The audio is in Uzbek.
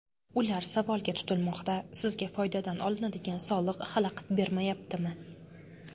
Ular savolga tutilmoqda: sizga foydadan olinadigan soliq xalaqit bermayaptimi?